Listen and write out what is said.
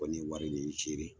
Kɔni ye wari nin seere